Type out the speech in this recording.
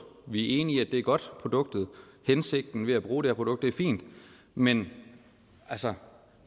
vi er enige i at godt produkt hensigten med at bruge det her produkt er fint men altså